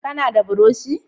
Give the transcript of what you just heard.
Ka na da buroshi?